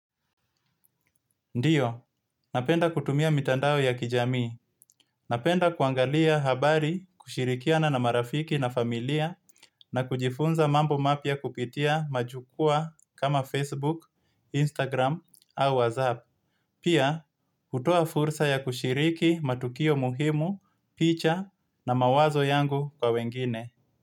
Ndiyo, napenda kutumia mitandao ya kijami. Napenda kuangalia habari kushirikiana na marafiki na familia na kujifunza mambo mapia kupitia majukua kama Facebook, Instagram au WhatsApp. Pia, utoa fursa ya kushiriki matukio muhimu, picha na mawazo yangu kwa wengine.